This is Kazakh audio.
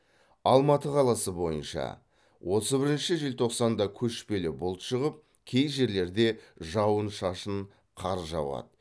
алматы қаласы бойынша отыз бірінші желтоқсанда көшпелі бұлт шығып кей жерлерде жауын шашын қар жауады